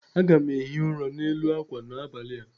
Aga m ehi ụra n'elu akwa m n'abalị a